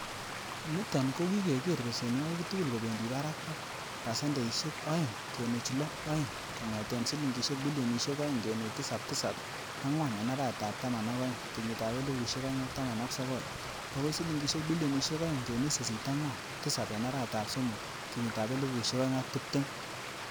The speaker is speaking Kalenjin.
Niton ko kigeer besenwogik tugul kobendi barak ak pasendeisiek oeng kenuch loo oeng kongeten silingisiek bilionisiek oeng kenuch tisap tisap angwan en arawetab taman ak oeng, kenyitab elfusiek oeng ak taman ak sogol bokoi silingisiek bilionisiek oeng kenuch sisit angwan tisap en arawetab somok, kenyitab elfusiek oeng ak tibtem.